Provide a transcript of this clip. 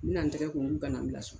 N bi na tɛgɛ ko k'u kana n bila so